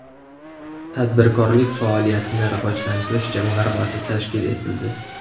Tadbirkorlik faoliyatini rivojlantirish jamg‘armasi tashkil etildi.